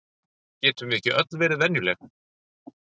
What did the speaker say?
Getum við ekki öll verið venjuleg?